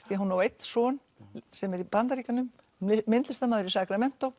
því hún á einn son sem er í Bandaríkjunum myndlistarmaður í